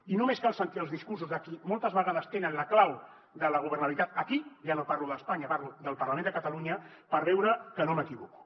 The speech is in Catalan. i només cal sentir els discursos de qui moltes vegades tenen la clau de la governabilitat aquí ja no parlo d’espanya parlo del parlament de catalunya per veure que no m’equivoco